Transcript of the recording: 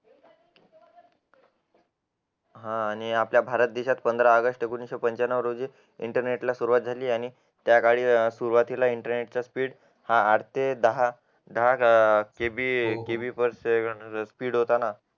हा आणि देशात पंधरा ऑगस्ट एकोणविशे पंचांनो रोजी इंटरनेटला सुरुवात झाली आणि त्याकाळी सुरुवातीला इंटरनेट चा स्पीड हा आठ ते दहा केबी फक्त स्पीड होता ना